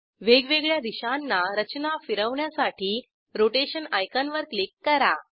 वेगवेगळ्या दिशांना रचना फिरवण्यासाठी रोटेशन आयकॉनवर क्लिक करा